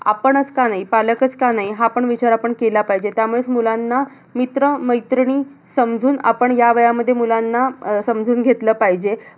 आपणच का नाही? पालकच का नाही? हा पण विचार आपण केला पाहिजे. त्यामुळेच मुलांना मित्र-मैत्रिणी समजून आपण ह्या वयामध्ये मुलांना, समजून घेतलं पाहिजे.